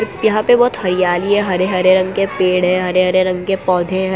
यहां पे बहोत हरियाली है हरे हरे रंग के पेड़ है हरे हरे रंग के पौधे हैं।